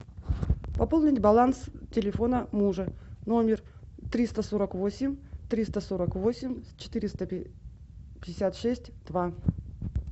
пополнить баланс телефона мужа номер триста сорок восемь триста сорок восемь четыреста пятьдесят шесть два